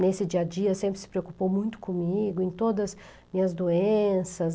Nesse dia a dia, sempre se preocupou muito comigo, em todas as minhas doenças.